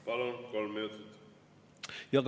Palun, kolm minutit!